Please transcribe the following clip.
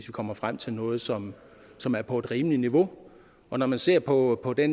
komme frem til noget som som er på et rimeligt niveau og når man ser på på det